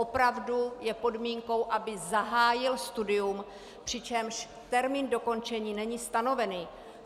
Opravdu je podmínkou, aby zahájil studium, přičemž termín dokončení není stanovený.